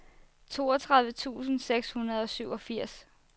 toogtredive tusind seks hundrede og syvogfirs